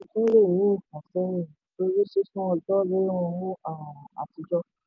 ìfàsẹ́yìn torí sísun ọjọ́ níná owó um àtijọ́.